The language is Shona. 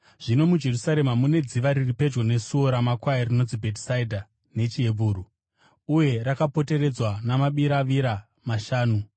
Zvino muJerusarema mune dziva riri pedyo neSuo raMakwai, rinonzi Bhetesdha nechiHebheru, uye rakapoteredzwa namabiravira mashanu.